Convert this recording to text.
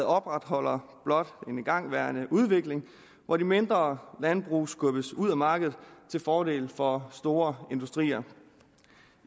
opretholder blot en igangværende udvikling hvor de mindre landbrug skubbes ud af markedet til fordel for store industrier